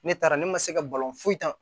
Ne taara ne ma se ka balon foyan